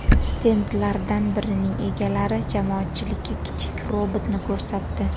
Stendlardan birining egalari jamoatchilikka kichik robotni ko‘rsatdi.